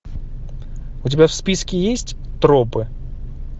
у тебя в списке есть тропы